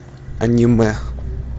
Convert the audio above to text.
аниме